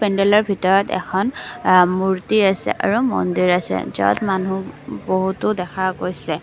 পেন্দেলৰ ভিতৰত এখন অ মূৰ্তি আছে আৰু মন্দিৰ আছে য'ত মানুহ বহুতো দেখা গৈছে।